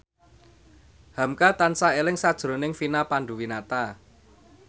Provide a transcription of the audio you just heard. hamka tansah eling sakjroning Vina Panduwinata